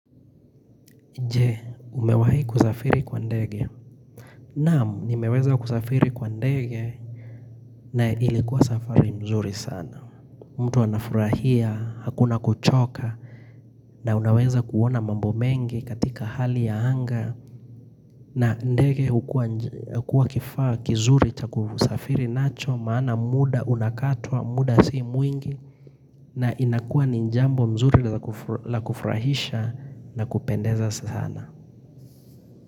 Je, umewahi kusafiri kwa ndege? Naamu, nimeweza kusafiri kwa ndege na ilikuwa safari mzuri sana. Mtu anafurahia, hakuna kuchoka, na unaweza kuona mambo mengi katika hali ya anga. Na ndege hukua kifaa kizuri cha kusafiri nacho, maana muda unakatwa, muda si mwingi. Na inakua ni jambo mzuri la kufurahisha na kupendeza sana.